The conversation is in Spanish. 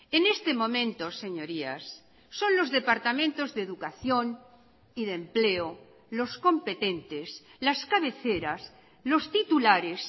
en este momento señorías son los departamentos de educación y de empleo los competentes las cabeceras los titulares